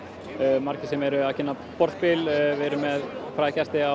margir sem eru að kynna borðspil við erum með fræga gesti á